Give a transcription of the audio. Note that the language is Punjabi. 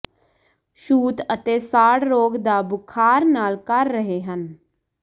ਛੂਤ ਅਤੇ ਸਾੜ ਰੋਗ ਦਾ ਬੁਖ਼ਾਰ ਨਾਲ ਕਰ ਰਹੇ ਹਨ